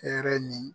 Hɛrɛ ni